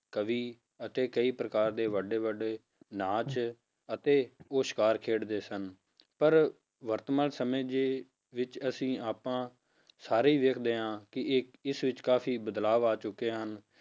ਕਵੀ ਅਤੇ ਕਈ ਪ੍ਰਕਾਰ ਦੇ ਵੱਡੇ ਵੱਡੇ ਨਾਚ ਅਤੇ ਉਹ ਸ਼ਿਕਾਰ ਖੇਡਦੇ ਸਨ, ਪਰ ਵਰਤਮਾਨ ਸਮੇਂ ਜੇ, ਵਿੱਚ ਅਸੀਂ ਆਪਾਂ ਸਾਰੇ ਹੀ ਵੇਖਦੇ ਹਾਂ ਕਿ ਇਸ ਵਿੱਚ ਕਾਫ਼ੀ ਬਦਲਾਵ ਆ ਚੁੱਕੇ ਹਨ,